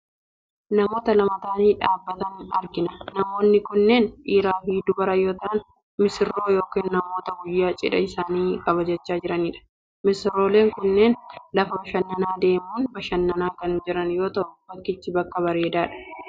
Namoota lama ta'anii dhaabbatan argina . Namoonni kunneen dhiiraafi dubara yoo ta'an missiirroo yookaan namoota guyyaa cidha isaanii kabajachaa jiranidha. Missirooleen kunniin lafa bashannanaa deemuun bashannanaa kan jiran yoo ta'u bakkichi bakka bareedaadha.